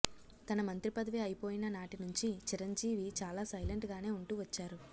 తన మంత్రిపదవి అయిపోయిన నాటినుంచి చిరంజీవి చాలా సైలెంట్ గానే ఉంటూ వచ్చారు